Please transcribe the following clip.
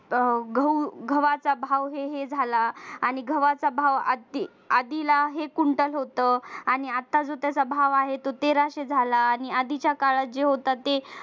अह गहू गव्हाचा भाव हे हे झाला आणि गव्हाचा भाव आधीला हे खुंटत होत आणि आता जो त्याचा भाव आहे तो तेराशे आला आणि आधीच्या काळात जे होत ते